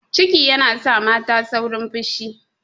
Ciki yana sa mata saurin fushi.